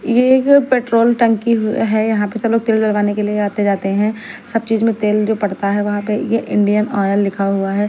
ये एक पेट्रोल टंकी है यहां पे सब लोग तेल डलवाने के लिए आते-जाते हैं सब चीज में तेल जो पड़ता है वहां पे ये इंडियन ऑयल लिखा हुआ है।